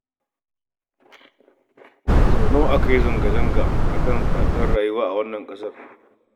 Sau nawa aka yi zanga-zanga saboda tsadar rayuwa a wannan ƙasar?